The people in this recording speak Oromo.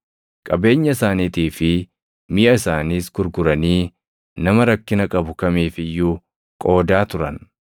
Qabeenya isaaniitii fi miʼa isaaniis gurguranii nama rakkina qabu kamiif iyyuu qoodaa turan.